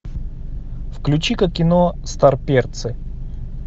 включи ка кино старперцы